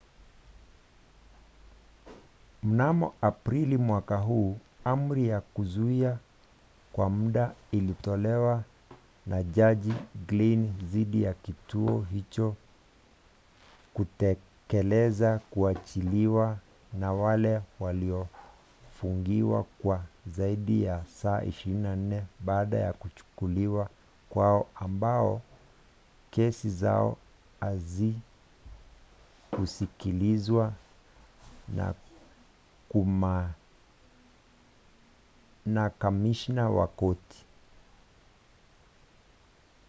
mnamo aprili mwaka huu amri ya kuzuia kwa mda ilitolewa na jaji glynn dhidi ya kituo hicho kutekeleza kuachiliwa kwa wale waliofungiwa kwa zaidi ya saa 24 baada ya kuchukuliwa kwao ambao kesi zao hazikusikilizwa na na kamishna wa korti